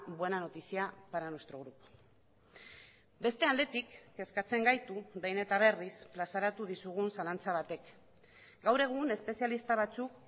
buena noticia para nuestro grupo beste aldetik kezkatzen gaitu behin eta berriz plazaratu dizugun zalantza batek gaur egun espezialista batzuk